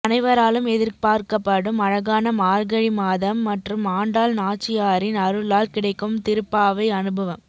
அனைவராலும் எதிர்பார்க்கப்படும் அழகான மார்கழி மாதம் மற்றும் ஆண்டாள் நாச்சியாரின் அருளால் கிடைக்கும் திருப்பாவை அனுபவம்